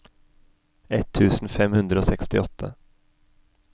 ett tusen fem hundre og sekstiåtte